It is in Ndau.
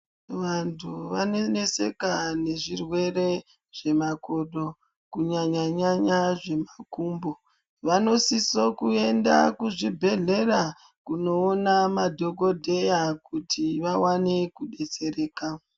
Vantu vanoneseka nezvirwere zvemokodo kunyanyanyanya zvemakumbo vanosisa kuenda kuzvibhedhlera kundiona madhokodheya kuti vawane kudetsereka.